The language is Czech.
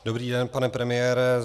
Dobrý den, pane premiére.